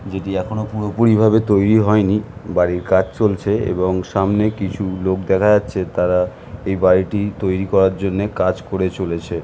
যদি এখনো পুরোপুরি ভাবে তৈরী হয়নি বাড়ির কাজ চলছেএবং সামনে কিছু লোক দেখা যাচ্ছেতারা এই বাড়িটি তৈরী করার জন্য কাজ করে চলেছে।